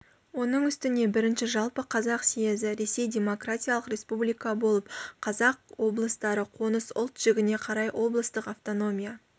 оның үстіне бірінші жалпы қазақ съезі ресей демократиялық республика болып қазақ облыстары қоныс-ұлт жігіне қарай облыстық автономия